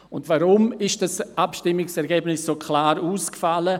Weshalb fiel dieses Abstimmungsresultat so klar aus?